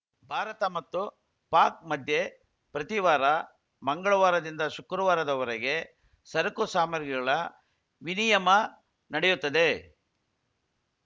ಭಾರತ ಮತ್ತು ಪಾಕ್‌ ಮಧ್ಯೆ ಪ್ರತಿವಾರ ಮಂಗಳವಾರದಿಂದ ಶುಕ್ರವಾರದವರೆಗೆ ಸರಕು ಸಾಮಗ್ರಿಗಳ ವಿನಿಯಮ ನಡೆಯುತ್ತದೆ